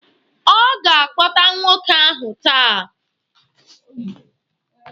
Ọ ga-akpọta nwoke ahụ taa.